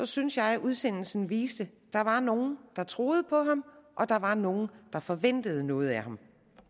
synes jeg at udsendelsen viste at der var nogle der troede på ham og at der var nogle der forventede noget af ham